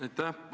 Aitäh!